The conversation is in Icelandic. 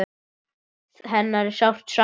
Hennar er sárt saknað.